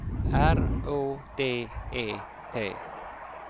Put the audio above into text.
R Å D E T